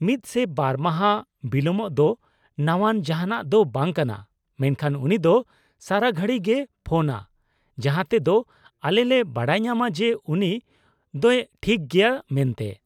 -ᱢᱤᱫ ᱥᱮ ᱵᱟᱨ ᱢᱟᱦᱟ ᱵᱤᱞᱚᱢᱚᱜ ᱫᱚ ᱱᱟᱣᱟᱱ ᱡᱟᱦᱟᱸᱱᱟᱜ ᱫᱚ ᱵᱟᱝ ᱠᱟᱱᱟ, ᱢᱮᱱᱠᱷᱟᱱ ᱩᱱᱤ ᱫᱚ ᱥᱟᱨᱟᱜᱷᱟᱹᱲᱤ ᱜᱮᱭ ᱯᱷᱳᱱᱼᱟ ᱡᱟᱦᱟᱸ ᱛᱮ ᱫᱚ ᱟᱞᱮ ᱞᱮ ᱵᱟᱰᱟᱭ ᱧᱟᱢᱟ ᱡᱮ ᱩᱱᱤ ᱫᱚᱭ ᱴᱷᱤᱠ ᱜᱮᱭᱟ ᱢᱮᱱᱛᱮ ᱾